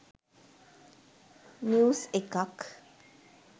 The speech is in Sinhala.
නිවුස් එකක්